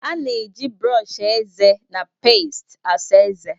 A na-eji brọọsh eze na peest asa ezé.